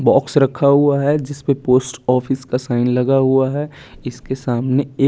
box रखा हुआ है जिसपे पोस्ट-ऑफिस का साइन लगा हुआ है इसके सामने एक--